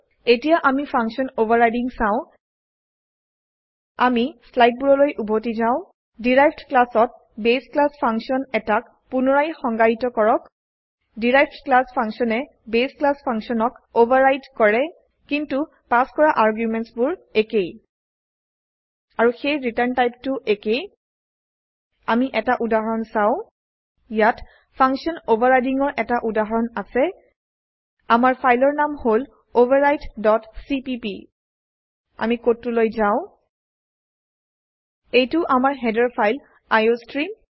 এতিয়া আমিfunction অভাৰৰাইডিং চাও আমি স্লাইডবোৰলৈ উভতি যাও ডেৰাইভড ক্লাছতbase ক্লাছ ফাংছন এটাক পুনৰায় সংজ্ঞায়িত কৰক ডেৰাইভড ক্লাছ ফাংচন এ বাছে ক্লাছ functionক ওভাৰৰাইদ কৰে কিন্তু পাশ কৰাargumentsবোৰ একেই আৰু সেই return টাইপ টো একেই আমি এটা উদাহৰণ চাও ইয়াত ফাংচন Overridingৰ এটা উদাহৰণ আছে আমাৰ ফাইলৰ নাম হলoverridecpp আমি কোডটোলৈ যাও এইটো আমাৰ হেডাৰ ফাইল আইঅষ্ট্ৰিম